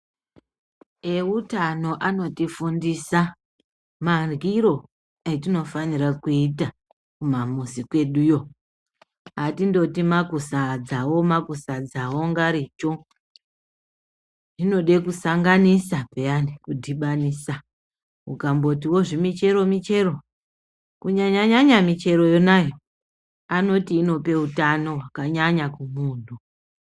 Etano anotifundisa marwiro etino fanira kuita kumamuzi kweduyo atindoti makusadzawo makusadzawo ungaricho hinode kusanganisa piyani kudhibanisa ukambotiwo zvimichero michero kunyanyanya michero nayo anoti inope utano hwakanyanya kumuntu.